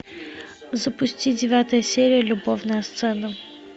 запусти девятая серия любовная сцена